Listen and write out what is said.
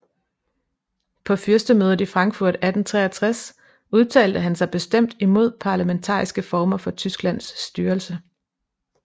På fyrstemødet i Frankfurt 1863 udtalte han sig bestemt imod parlamentariske former for Tysklands styrelse